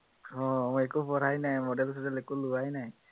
আহ মই একো পঢ়াই নাই, model চডেল একো লোৱাই নাই